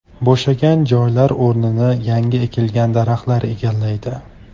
Bo‘shagan joylar o‘rnini yangi ekilgan daraxtlar egallaydi.